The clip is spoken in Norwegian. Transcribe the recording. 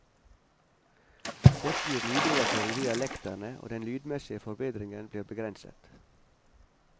Dette gir lydoverføring via lekterne og den lydmessige forbedringen blir begrenset.